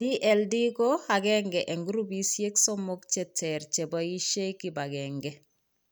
DLD ko aeng'e eng' grupisiek somok cheter cheboisie kibagenge